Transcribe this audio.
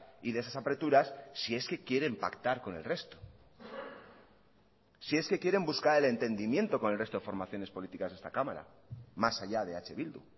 y de esas apreturas si es que quieren pactar con el resto si es que quieren buscar el entendimiento con el resto de formaciones políticas de esta cámara más allá de eh bildu